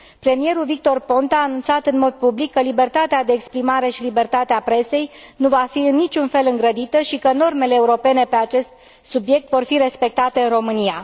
Premierul Victor Ponta a anunțat în mod public că libertatea de exprimare și libertatea presei nu va fi în niciun fel îngrădită și că normele europene pe acest subiect vor fi respectate în România.